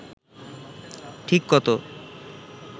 ঠিক কত